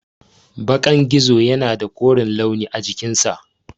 Bakan gizo yana da koren launi a cikinsa.